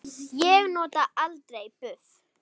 Ég nota aldrei buff.